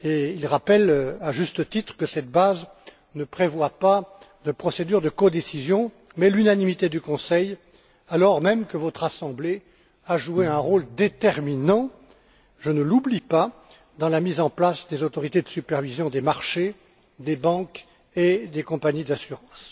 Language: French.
Ils rappellent, à juste titre, que cette base ne prévoit pas de procédure de codécision, mais l'unanimité du Conseil, alors même que votre Assemblée a joué un rôle déterminant je ne l'oublie pas dans la mise en place des autorités de supervision des marchés, des banques et des compagnies d'assurance.